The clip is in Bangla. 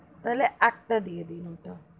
তাহলে একটা দিয়ে দিন ওটা,